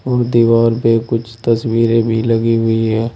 और दीवार पे कुछ तस्वीरें भी लगी हुई हैं।